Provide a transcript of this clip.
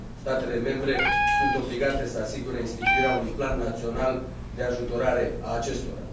Statele membre sunt obligate să asigure instituirea unui plan național de ajutorare a acestora.